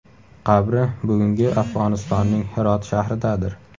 Qabri bugungi Afg‘onistonning Hirot shahridadir.